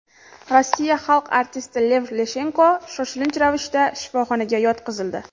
Rossiya xalq artisti Lev Leshenko shoshilinch ravishda shifoxonaga yotqizildi.